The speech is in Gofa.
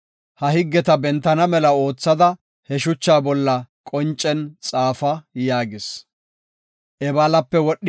Ha higgeta bentana mela oothada ha shuchata bolla qoncen xaafa” yaagis.